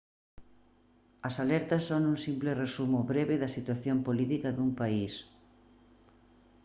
as alertas son un simple resumo breve da situación política dun país